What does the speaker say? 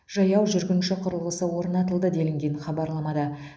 жаяу жүргінші құрылғысы орнатылды делінген хабарламада